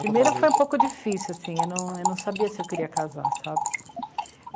Primeiro foi um pouco difícil, assim, eu não... eu não sabia se eu queria casar, sabe?